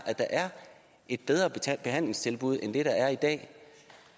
at der er et bedre behandlingstilbud end det der er i dag